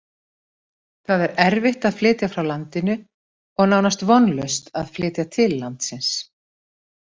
Það er erfitt að flytja frá landinu og nánast vonlaust að flytja til landsins.